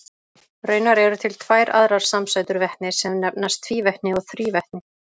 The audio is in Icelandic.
Raunar eru til tvær aðrar samsætur vetnis sem nefnast tvívetni og þrívetni.